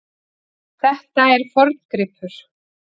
Þetta er forngripur.